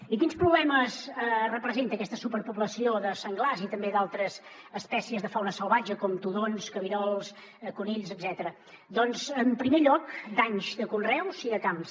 i quins problemes representa aquesta superpoblació de senglars i també d’altres espècies de fauna salvatge com tudons cabirols conills etcètera doncs en primer lloc danys de conreus i de camps